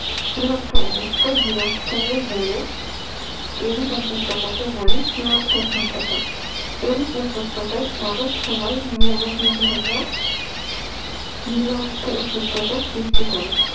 ঝুলন্ত অবস্থায় বিরাজ করে বলে এরূপ উপত্যকাকে বলে ঝুলন্ত উপত্যকা এরূপ উপত্যকায় অনেক সময় হিমবাহ গুলি ঝুলন্ত উপত্যকা সৃষ্টি করে